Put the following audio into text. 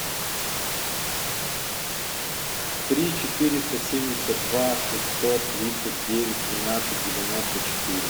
три четыреста семьдесят два шестьсот тридцать девять тринадцать девяносто четыре